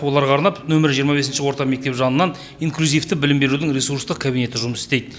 оларға арнап нөмірі жиырма бесінші орта мектеп жанынан инклюзивті білім берудің ресурстық кабинеті жұмыс істейді